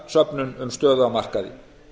upplýsingasöfnun um stöðu á markaði